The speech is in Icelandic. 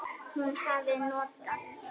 Hún hafi notað